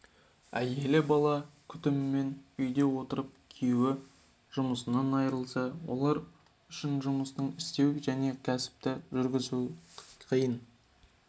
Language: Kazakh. әйелі бала күтімімен үйде отырып күйеуі жұмысынан айырылса олар үшін жұмыс істеу және кәсіпті жүргізу қиын